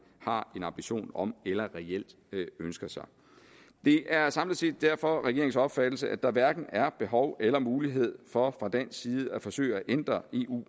har en ambition om eller reelt ønsker sig det er samlet set derfor regeringens opfattelse at der hverken er behov eller mulighed for fra dansk side at forsøge at ændre eu